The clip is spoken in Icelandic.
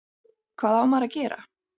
Hvað á maður að gera?